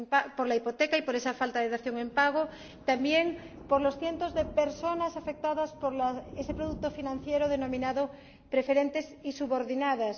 por la hipoteca y por esa falta de dación en pago, y también cientos de personas afectadas por ese producto financiero denominado preferentes y subordinadas